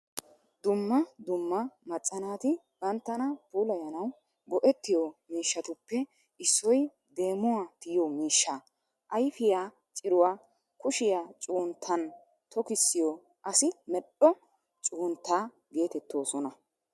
Dumma dumma macca naati banttana puulayanawu go"ettiyo miishshattuppe issoy deemuwaa tiyiyo miishshaa, ayfiyaa ciruwaa kushshiyaa cuggunttan tokkisiyo asi medhdho cuggunttaa geetettoosna.